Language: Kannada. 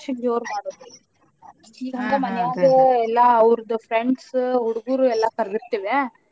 ಐದ್ನೆೇ ವರ್ಷಕ್ ಜೋರ್ ಮಾಡೋದ್ರೀ ಈಗ್ ಹಂಗ ಮಾನ್ಯಾಗ ಎಲ್ಲಾ ಅವ್ರ್ದ friends ಹುಡ್ಗುರು ಎಲ್ಲಾ ಕರ್ದಿತಿವ್ಯಾ.